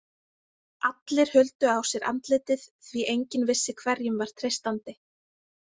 Allir huldu á sér andlitið, því enginn vissi hverjum var treystandi.